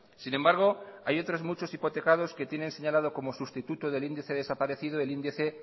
sin embargo hay otros muchos hipotecados que tienen señalado como sustituto del índice desaparecido el índice